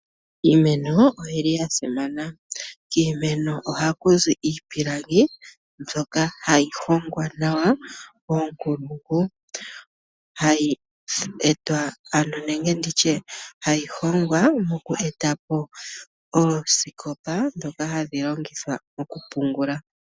Iimeno oyi li ya simana. Kiimeno ohaku zi iipilangi mbyoka hayi hongwa nawa koonkulungu. Ohayi hongwa e ta yi etapo osikopa dhoka hadhi longithwa okupungula.